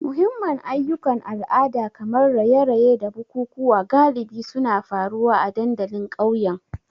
Muhimman ayyukan al'ada kamar raye-raye da bukukuwa galibi suna faruwa a dandalin ƙauyen.